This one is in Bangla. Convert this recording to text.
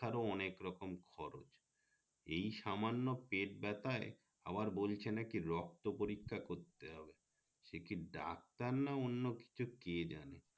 পরীক্ষার ও অনেক রকম খরচ এই সামান্য পেট বেথায় আবার বলছে নাকি রক্ত পরীক্ষা করতে হবে সে কি doctor না অন্য কিছু কে জানে